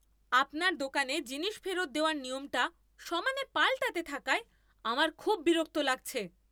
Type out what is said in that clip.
আপনার দোকানে জিনিস ফেরত দেওয়ার নিয়মটা সমানে পাল্টাতে থাকায় আমার খুব বিরক্ত লাগছে।